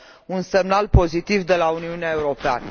un semnal pozitiv de la Uniunea Europeană.